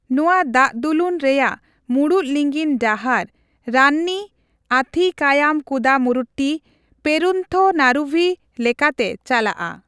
ᱱᱚᱣᱟ ᱫᱟᱜᱫᱩᱞᱩᱱ ᱨᱮᱭᱟᱜ ᱢᱩᱲᱩᱫ ᱞᱤᱸᱜᱤᱱ ᱰᱟᱦᱟᱨ ᱨᱟᱱᱱᱤᱼ ᱟᱛᱷᱤᱠᱟᱭᱟᱢᱼᱠᱩᱫᱟᱢᱩᱨᱩᱴᱴᱤᱼ ᱯᱮᱨᱩᱱᱛᱷᱚᱱᱟᱨᱩᱵᱷᱤ ᱞᱮᱠᱟᱛᱮ ᱪᱟᱞᱟᱜᱼᱟ ᱾